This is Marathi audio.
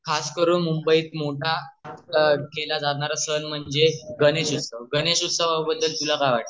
खास करून मुंबई मधे केला जाणारा सण म्हणजे गणेशोत्सव गणेश उत्सवाबद्दल तुला काय वाटे ते